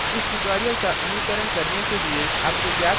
इस tutorial का अनुकरण करने के लिए आपको ज्ञात होना चाहिए